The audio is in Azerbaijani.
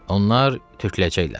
Onlar töküləcəklər.